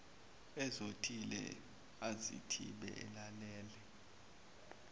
ezothile azithibe alalele